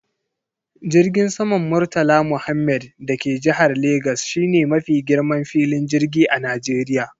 Jirgin saman murtala muhammed da ke jihar legas shine mafi girman filin jirgi a Najeriya.